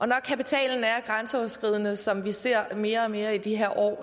når kapitalen er grænseoverskridende som vi ser det mere og mere i de her år